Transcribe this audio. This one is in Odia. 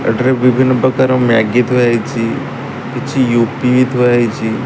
ଏଠି ବିଭିନ୍ନ ପ୍ରକାର ମ୍ୟାଗି ଥୁଆ ହେଇଚି କିଛି ୟୁପି ବି ଥୁଆ ହେଇଚି।